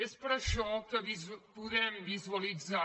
és per això que podem visualitzar